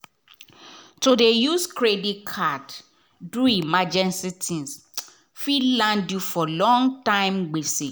to dey use credit card do emergency tins fit land you for long-term gbese.